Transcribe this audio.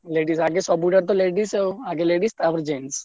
Ladies ଆଗେ ସବୁଥିରେ ତ ladies ଆଉ ଆଗ ladies ତାପରେ jeans ।